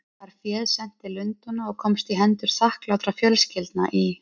Var féð sent til Lundúna og komst í hendur þakklátra fjölskyldna í